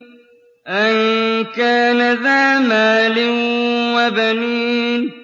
أَن كَانَ ذَا مَالٍ وَبَنِينَ